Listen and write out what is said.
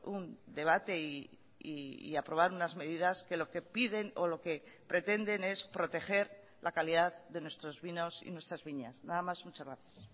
un debate y aprobar unas medidas que lo que piden o lo que pretenden es proteger la calidad de nuestros vinos y nuestras viñas nada más muchas gracias